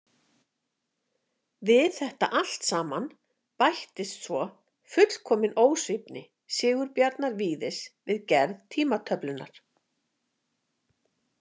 Við þetta allt saman bætist svo fullkomin ósvífni Sigurbjarnar Víðis við gerð tímatöflunnar.